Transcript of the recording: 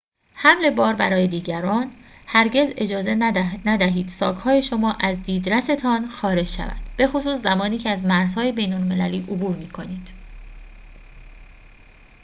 حمل بار برای دیگران هرگز اجازه ندهید ساک‌های شما از دیدرس‌تان خارج شود بخصوص زمانی که از مرزهای بین‌المللی عبور می‌کنید